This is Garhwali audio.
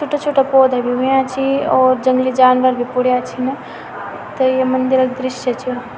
छुट्टा छुट्टा पोधा भी हुयां छी और जंगली जानवर भी पुड्यां छिन त ये मंदिर क दृश्य छ।